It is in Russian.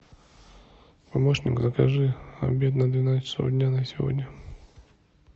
помощник закажи обед на двенадцать часов дня на сегодня